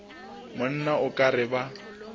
monna o ka re ba